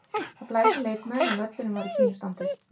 Það blés um leikmenn en völlurinn var í fínu standi.